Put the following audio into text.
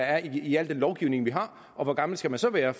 er i al den lovgivning vi har og hvor gammel skal man så være